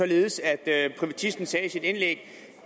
således at privatisten sagde i sit indlæg